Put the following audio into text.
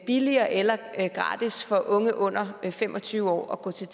billigere eller gratis for unge under fem og tyve år at gå til